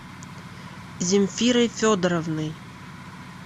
земфирой федоровной